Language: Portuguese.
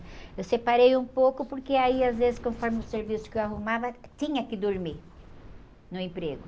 Eu separei um pouco porque aí, às vezes, conforme o serviço que eu arrumava, tinha que dormir no emprego.